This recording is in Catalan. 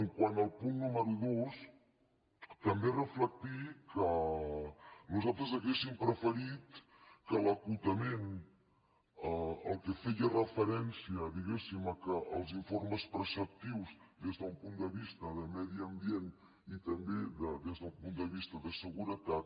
quant al punt número dos també reflectir que nosaltres hauríem preferit que l’acotament el que feia referència diguéssim que als informes preceptius des d’un punt de vista de medi ambient i també des d’un punt de vista de seguretat